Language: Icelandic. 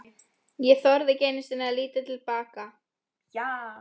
Ég þorði ekki einu sinni að líta til baka.